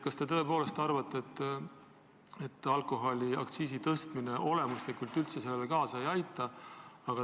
Kas te tõepoolest arvate, et alkoholiaktsiis olemuslikult üldse seda ei mõjuta?